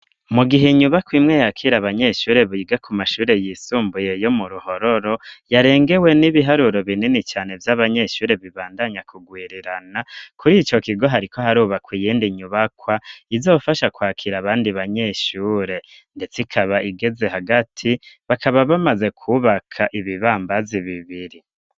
Mu gihe inyubakwa imwe yakire abanyeshure biga ku mashure y'isumbuye yo mu Ruhororo yarengewe n'ibiharuro binini cane vy'abanyeshure bibandanya kugwirirana kuri ico kigo hariko harubakwa iyindi nyubakwa izofasha kwakira abandi banyeshure ndetse ikaba igeze hagati bakaba bamaze kubaka ibibambazi bibiri.